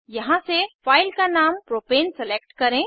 यहाँ से फाइल का नाम प्रोपेन सेलेक्ट करें